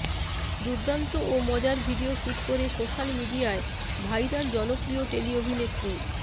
দুর্দান্ত ও মজার ভিডিও শ্যুট করে সোশ্যাল মিডিয়ায় ভাইরাল জনপ্রিয় টেলি অভিনেত্রী